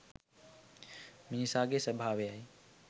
මිනිසාගේ ස්වභාව යි.